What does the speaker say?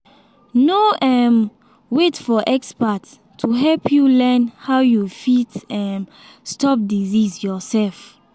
no um wait for expert to help you learn how you fit um stop disease yourself